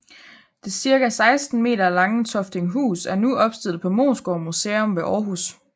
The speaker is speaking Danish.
Det cirka 16 meter lange Toftinghus er nu opstillet på Moesgård Museum ved Århus